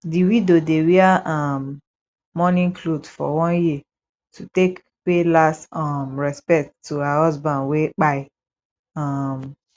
di widow dey wear um mourning cloth for one year to take pay last um respect to her husband wey kpai um